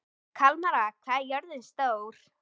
Kalmara, hvað er jörðin stór?